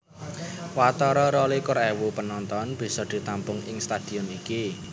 Watara rolikur ewu penonton bisa ditampung ing stadion iki